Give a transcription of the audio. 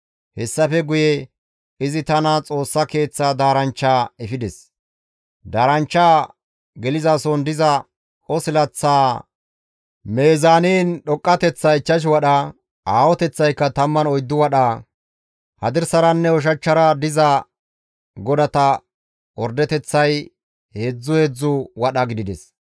Hessafe guye izi tana Xoossa Keeththaa daaranchcha efides. Daaranchchaa gelizason diza qosilaththaa mizaanin dhoqqateththay 5 wadha; aahoteththaykka 14 wadha. Hadirsaranne ushachchara diza godata ordeteththay heedzdzu heedzdzu wadha gidides.